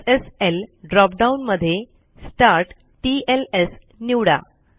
SSL drop down मध्ये StartTLS निवडा